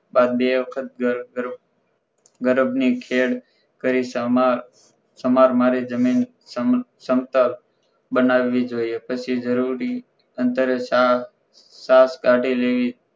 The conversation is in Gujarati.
આ બે વખત ઘર ઘર ઘરભ ની ખેળ કરી સમર સમાર મારી જમીન સમતલ બનવી જોઈએ પછી જરૂરી અંતરે સા સાત કાઢી લેવી